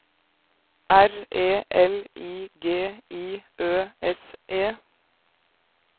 R E L I G I Ø S E